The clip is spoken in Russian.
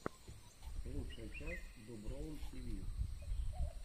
лучшая часть доброум тиви